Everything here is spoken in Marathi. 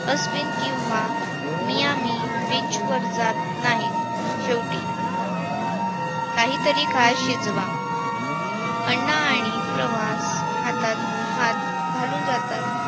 अस्वीन किंवा मियामी beach वर जात नाहीत शेवटी. काहीतरी काळ शिजवा. अन्न आणि प्रवास हातात हात घालून जातात.